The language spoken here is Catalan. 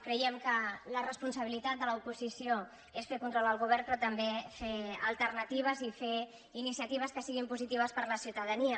creiem que la responsabilitat de l’oposició és fer control al govern però també fer alternatives i fer iniciatives que siguin positives per a la ciutadania